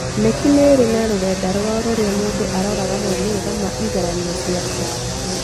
KNEC nĩ marĩ rũrenda rwao rũría mũndũ angĩrora maumĩrĩra ma igeranio ciake